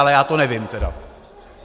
Ale já to nevím teda.